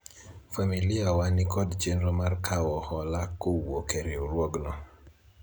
familia wa nikod chenro mar kawo hola kowuok e riwruogno